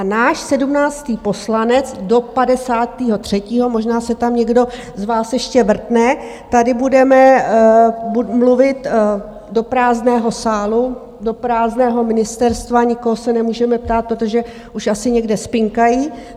A náš sedmnáctý poslanec do padesátého třetího, možná se tam někdo z vás ještě vrtne, tady budeme mluvit do prázdného sálu, do prázdného ministerstva , nikoho se nemůžeme ptát, protože už asi někde spinkají.